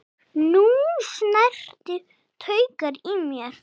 Þú snertir taugar í mér.